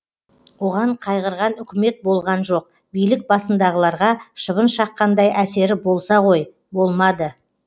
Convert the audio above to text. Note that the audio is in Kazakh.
оған қайғырған үкімет болған жоқ билік басындағыларға шыбын шаққандай әсері болса ғой болмады